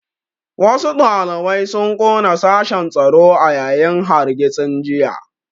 Wasu ɗalibai sun ƙona sashen tsaro a yayin hargitsin jiya